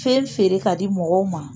Fɛn feere ka di mɔgɔw ma